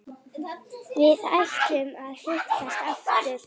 Við ætluðum að hittast aftur.